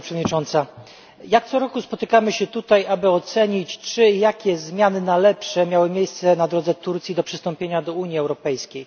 Pani Przewodnicząca! Jak co roku spotykamy się tutaj, aby ocenić, czy i jakie zmiany na lepsze miały miejsce na drodze Turcji do przystąpienia do Unii Europejskiej.